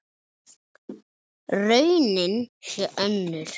Raunin sé önnur.